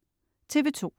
TV2: